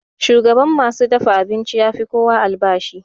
Shugan ma su dafa abincin ya fi kowa albashi.